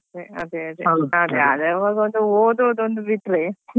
ಅದೇ ಅದೇ ಅದೇ ಆವಾಗ ಓದೋದ್ ಒಂದು ಬಿಟ್ರೆ.